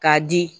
K'a di